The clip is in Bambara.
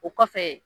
O kɔfɛ